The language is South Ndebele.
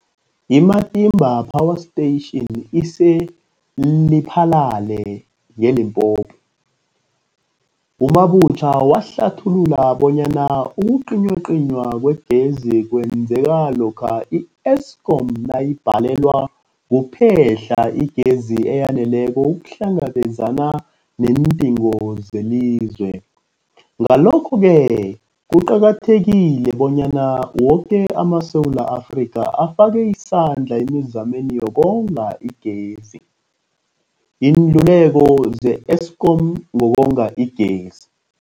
I-Matimba Power Station ise-Lephalale, eLimpopo. U-Mabotja wahlathulula bonyana ukucinywacinywa kwegezi kwenzeka lokha i-Eskom nayibhalelwa kuphe-hla igezi eyaneleko ukuhlangabezana neendingo zelizwe. Ngalokho-ke kuqakathekile bonyana woke amaSewula Afrika afake isandla emizameni yokonga igezi. Iinluleko ze-Eskom ngokonga igezi.